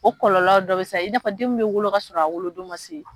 O kɔlɔlɔ dɔ bɛ sa i n'a fɔ den min bɛ wolo kasɔrɔ a wolodon ma se